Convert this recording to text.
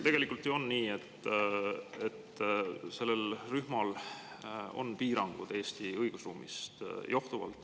Tegelikult ju on nii, et sellel rühmal on piirangud Eesti õigusruumist johtuvalt.